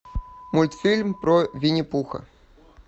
мультфильм про винни пуха